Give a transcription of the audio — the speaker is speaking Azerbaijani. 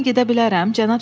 İndi mən gedə bilərəm?